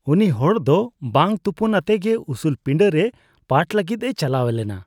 ᱩᱱᱤ ᱦᱚᱲ ᱫᱚ ᱵᱟᱝ ᱛᱚᱯᱚᱱᱟᱛᱮ ᱜᱮ ᱩᱥᱩᱞ ᱯᱤᱸᱰᱟᱹ ᱨᱮ ᱯᱟᱴᱷ ᱞᱟᱹᱜᱤᱫᱼᱮ ᱪᱟᱞᱟᱣ ᱞᱮᱱᱟ ᱾